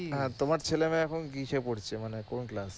তোমার ছেলে মেয়ে এখন কিসে পড়ছে? মানে কোন